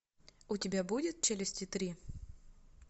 у тебя будет челюсти три